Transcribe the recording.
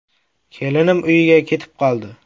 Kelinim uyiga ketib qoldi.